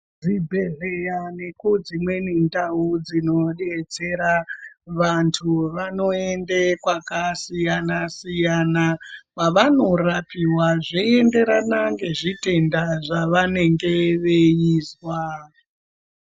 Zvibhedhleya nekudzimweni ndau dzinobetsera vantu vanoende kwakasiyana-siyana, kwavanorapiva zveienderana ngezvitenda zvavanenge veizwa.